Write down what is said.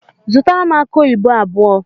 Zụtara m akụ oyibo abụọ!!